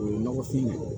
O ye nɔgɔfin ye